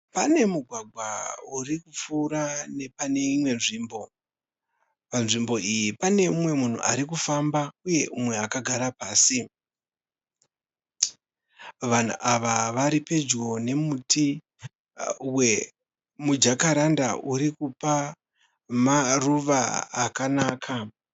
Pane mugwagwa urikupfuura nepane imwe nzvimbo. Panzvimbo iyi pane mumwe munhu arikufamba uye mumwe akagara pasí. Vanhu ava varipedyo nemuti wemu jacaranda urikupa maruva akanaka.